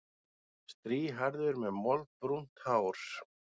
Strýhærður með moldbrúnt hár.